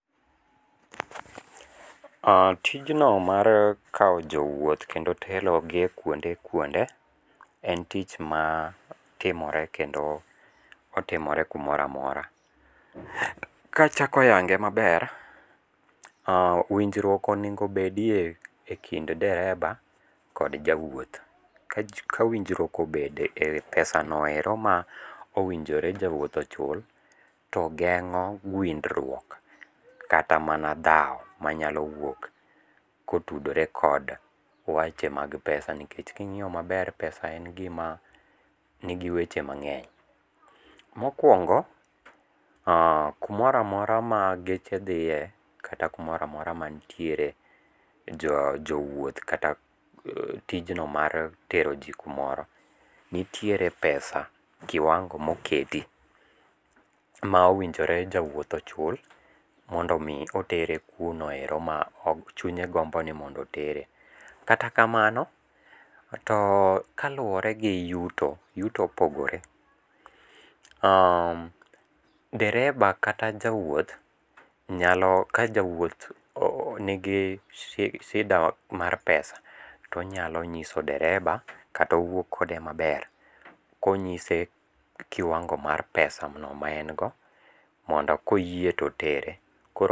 Oh tijno mar kawo jowuoth kendo telogi e kuonde kuonde en tich matimore kendo otimore kumoro amora. Kachako yange maber ah winjruok onego bedie e kind dereba kod jawuoth, ka winjruok obede e wi pesano ero ma owinjore jawuoth ochul, to geng'o gwindruok kata mana dhao manyalo wuok kotudore kod weche mag pesa nikech king'iyo maber pesa en gima nigi weche mang'eny. Mokwongo oh kumoro amora ma geche dhiye kata kumoro amora mantiere jowuoth kata tijno mar tero ji kumoro nitiere pesa kiwango ma oketi ma owinjore jawuoth ochul mondo omi otero kuno ero ma chunye gombo ni mondo otere. Kata kamano to kaluwore gi yuto, yuto opogore, oh dereba kata jawuoth ka jawuoth nigi sida mar pesa tonyalo nyiso dereba kata owuo kode maber konyise kiwango mar pesano maen go mondo koyie totere, koro.